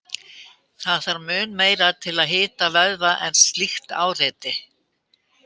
Það þarf mun meira til að hita vöðva en slíkt áreiti.